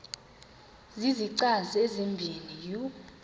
zizichazi ezibini u